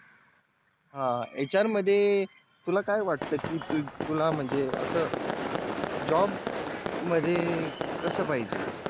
हा HR मध्ये तुला काय वाटत कि तुला म्हणजे आस Job मध्ये कस पाहिजे